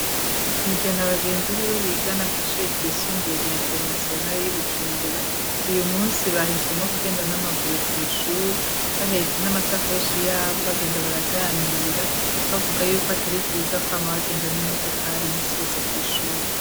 tiven abagenzi biwe bigana kw,ishure ryisumbuye ya internationale y'ibujumbura uyu munsi bahisemwo kugenda n'amaguru kwi, shuri bahetse n'amasakoshi yabo bagenda baraganira bavuga yuko atari vyiza ko bama bagenda n'imodokari iminsi yose kw,ishuri